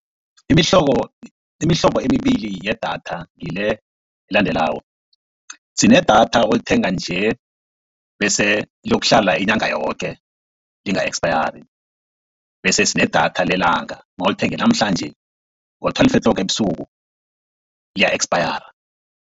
Imihlobo, imihlobo emibili yedatha ngile elandelako, sinedatha olithenga nje bese liyokuhlala inyanga yoke linga ekspayari, bese sinedatha lelanga nawulithenge namhlanje ngo-twelve o'clock ebusuku liya ekspayara.